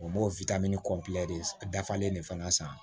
O m'o kɔnpilɛ dafalen de fana san